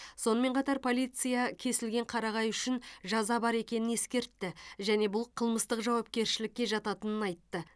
сонымен қатар полиция кесілген қарағай үшін жаза бар екенін ескертті және бұл қылмыстық жауапкершілікке жататынын айтты